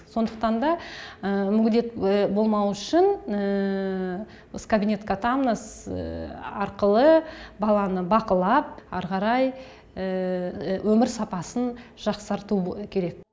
сондықтан да мүгедек болмауы үшін біз кабинет катамнез арқылы баланы бақылап ары қарай өмір сапасын жақсарту керек